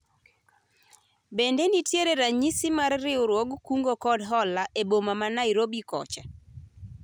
bende nitie ranyisi mar riwruog kungo kod hola e boma ma Nairobi kocha ?